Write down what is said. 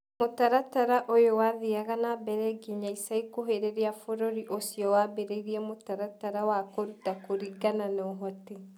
Mũtaratara ũyũ wathiaga na mbere nginya ica ikuhĩ rĩrĩa bũrũri ũcio wambĩrĩirie mũtaratara wa kũruta kũringana na ũhoti.